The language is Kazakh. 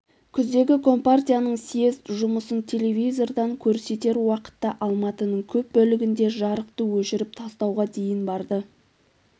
күздегі компартияның съезд жұмысын телевизордан көрсетер уақытта алматының көп бөлігінде жарықты өшіріп тастауға дейін барды